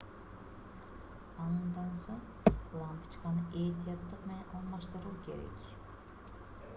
андан соң лампочканы этияттык менен алмаштыруу керек